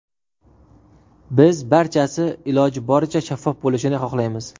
Biz barchasi iloji boricha shaffof bo‘lishini xohlaymiz.